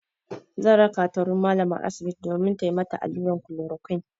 Zan raka ta wurin malamar asibiti domin tayi mata allurar klorokwin.